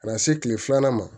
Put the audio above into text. Ka na se kile filanan ma